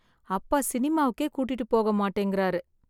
அப்பா சினிமாக்கே கூட்டிட்டு போக மாட்டேங்கறாரு.